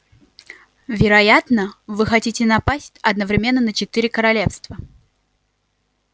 вероятно вы хотите напасть одновременно на четыре королевстра